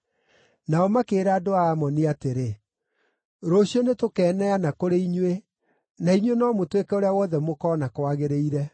Nao makĩĩra andũ a Amoni atĩrĩ, “Rũciũ nĩtũkeneana kũrĩ inyuĩ, na inyuĩ no mũtwĩke ũrĩa wothe mũkoona kwagĩrĩire.”